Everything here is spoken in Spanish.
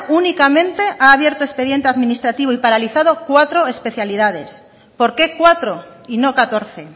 únicamente ha abierto expediente administrativo y paralizado cuatro especialidades por qué cuatro y no catorce